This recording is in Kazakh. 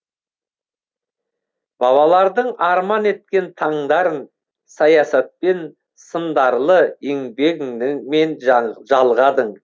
бабалардың арман еткен таңдарын саясатпен сындарлы еңбегіңмен жалғадың